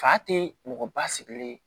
Fa tɛ mɔgɔ ba sigilen